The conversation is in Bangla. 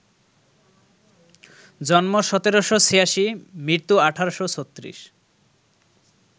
জন্ম ১৭৮৬, মৃত্যু ১৮৩৬